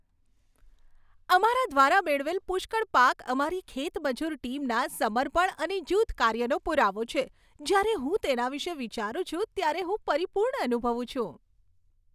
અમારા દ્વારા મેળવેલ પુષ્કળ પાક અમારી ખેત મજૂર ટીમના સમર્પણ અને જૂથકાર્યનો પુરાવો છે. જ્યારે હું તેના વિશે વિચારું છું ત્યારે હું પરિપૂર્ણ અનુભવું છું.